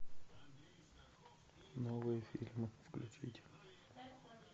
новые фильмы включить